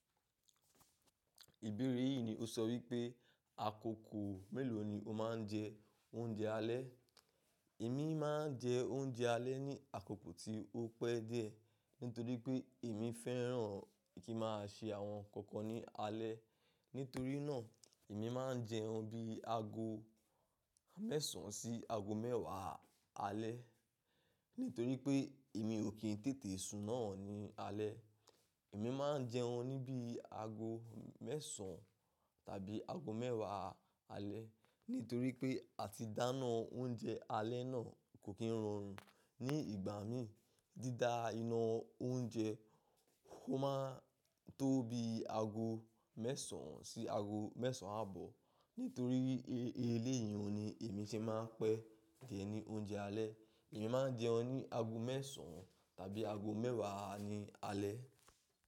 Ìbéèrè yìí ni ó sọ wípé, àkókò mélòó ni o máa ń jẹ oúnjẹ alẹ́. Èmi máa ń jẹ oúnjẹ alẹ́ ní àkókò tí ó pẹ́ díẹ̀, nítorí pé èmi fẹ́ràn kí ma ṣe àwọn ǹkan kan ní alẹ́. Nítorí náà, èmi máa ń jẹun bí i ago mẹ́sàn án sí ago mẹ́ẹ̀wá alẹ́. Nítorí pé èmi ò kí n tètè sun náà ní alẹ́. Èmi máa ń jẹun ní bí i ago mẹ́sàn án tàbí ago mẹ́ẹ̀wá alẹ́. Nítorí pé, àti dáná oúnjẹ alẹ́ náà kò kí ń rọrùn. Ní ìgbà mi, dídá iná oúnjẹ, ó máa tó bí i ago mẹ́sàn sí ago mẹ́sàn àbọ̀. Nítorí wipe eleyi ni èmi se máa ń pẹ́ jẹ ní oúnjẹ alẹ́. Èmi máa ń jẹun ní ago mẹ́sàn án tàbí ago mẹ́ẹ̀wá ni alẹ́.